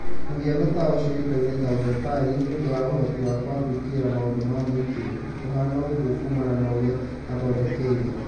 Mũhiano ta ũcio ũĩkaine ta ũmbepari nĩũndũ wa ũhoti wake wa gwĩkĩrĩra maũndũ ma mũingi, na kũhana ũguo kumana na ũrĩa mathondekirwo